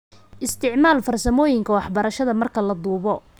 Isticmaal farsamooyinka waxbarashada marka la duubo.